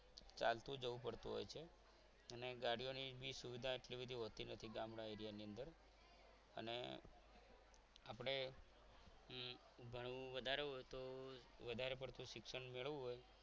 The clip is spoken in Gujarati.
ચાલતું જવું પડતું હોય છે અને ગાડીઓની સુવિધા પણ એટલી બધી હોતી નથી ગામડા એરિયાની અંદર અને આપણે ભણવું વધારે હોય તો વધારે પડતું શિક્ષણ મેળવવું હોય